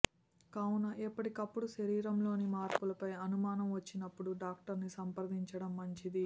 కావున ఎప్పటికప్పుడు శరీరం లోని మార్పులపై అనుమానం వచ్చినప్పుడు డాక్టరును సంప్రదించడం మంచిది